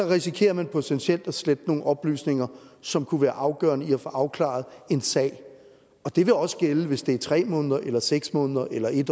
risikerer man potentielt at slette nogle oplysninger som kunne være afgørende for at få opklaret en sag og det vil også gælde hvis det er tre måneder eller seks måneder eller en